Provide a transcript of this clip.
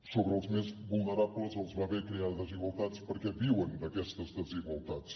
sobre els més vulnerables els va bé crear desigualtats perquè viuen d’aquestes desigualtats